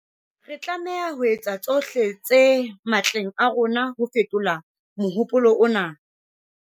Re tlameha ho etsa tsohle tse matleng a rona ho fetola mohopolo ona.